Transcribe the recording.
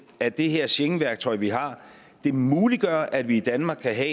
at det her schengenværktøj vi har muliggør at vi i danmark kan